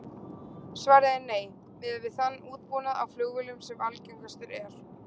Svarið er nei, miðað við þann útbúnað á flugvélum sem algengastur er.